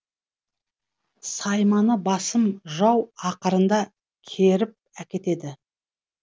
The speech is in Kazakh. сайманы басым жау ақырында керіп әкетеді